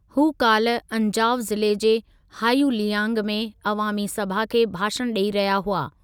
हू काल्ह अंजाव ज़िले जे हायुलियांग में अवामी सभा खे भाषणु ॾेई रहिया हुआ।